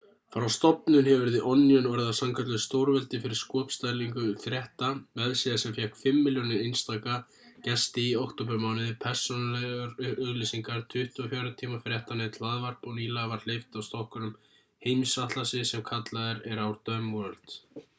frá stofnun hefur the onion orðið að sannkölluðu stórveldi fyrir skopstælingu frétta vefsíða sem fékk 5.000.000 einstaka gesti í októbermánuði persónulegar auglýsingar 24 tíma fréttanet hlaðvarp og nýlega var hleypt af stokkunum heimsatlasi sem kallaður er our dumb world